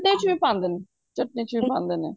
ਵਿੱਚ ਵੀ ਪਾਂਦੇ ਨ ਚਟਣੀ ਚ ਵੀ ਪਾਂਦੇ ਨੇ